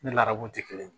Ni ladaraw tɛ kelen ye